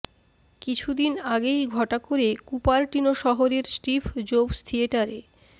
কিছুদিন আগেই ঘটা করে কুপারটিনো শহরের স্টিভ জোবস থিয়েটারে